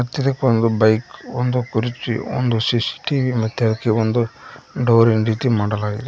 ಮತ್ತಿದಕ್ ಒಂದು ಬೈಕ್ ಒಂದು ಕುರ್ಚಿ ಒಂದು ಸಿ_ಸಿ_ಟಿ_ವಿ ಮತ್ತೆ ಅದಕ್ಕೆ ಒಂದು ಡೋರ್ ನ ರೀತಿ ಮಾಡಲಾಗಿದೆ.